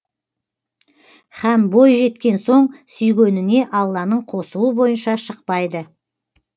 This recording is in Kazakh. һәм бой жеткен соң сүйгеніне алланың қосуы бойынша шықпайды